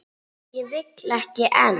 Og vill ekki enn.